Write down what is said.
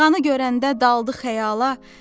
Dalğanı görəndə daldı xəyala.